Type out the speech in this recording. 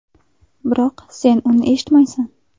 Biroq sen uni eshitmaysan!